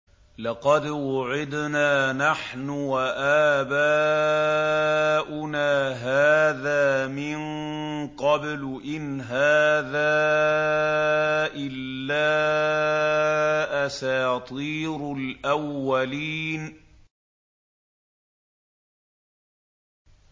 لَقَدْ وُعِدْنَا نَحْنُ وَآبَاؤُنَا هَٰذَا مِن قَبْلُ إِنْ هَٰذَا إِلَّا أَسَاطِيرُ الْأَوَّلِينَ